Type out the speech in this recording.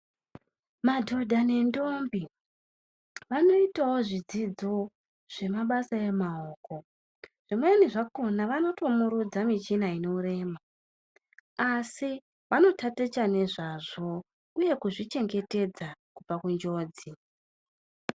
Madhodha nendombi vanoitavo zvidzidzo zvemabasa emaoko. Zvimweni zvakona vanotomurudza michina inorema asi vanotaticha nezvazvo, uye kuzvichengetedza kubva kunjodzi.